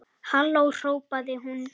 Halló hrópaði hún.